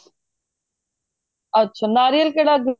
ਅੱਛਾ ਨਾਰੀਅਲ ਕਿਹੜਾ